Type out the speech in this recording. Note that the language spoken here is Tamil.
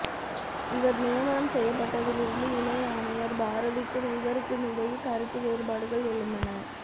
இவர் நியமனம் செய்யப்பட்டதிலிருந்து இணை ஆணையர் பாரதிக்கும் இவருக்குமிடையே கருத்து வேறுபாடுகள் எழுந்தன